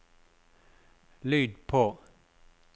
lyd på